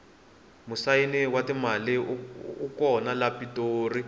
musayini wa timali u kona le pitori